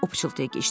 O pıçıldayıb.